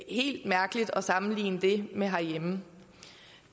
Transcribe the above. ikke helt mærkeligt at sammenligne det med det herhjemme